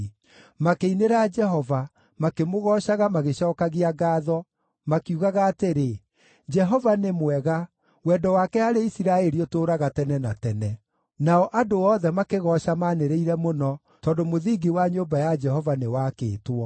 Makĩinĩra Jehova, makĩmũgoocaga magĩcookagia ngaatho, makiugaga atĩrĩ: “Jehova nĩ mwega wendo wake harĩ Isiraeli ũtũũraga tene na tene.” Nao andũ othe makĩgooca manĩrĩire mũno tondũ mũthingi wa nyũmba ya Jehova nĩwaakĩtwo.